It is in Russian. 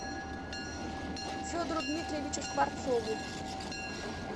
федору дмитриевичу скворцову